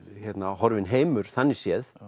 horfinn heimur þannig séð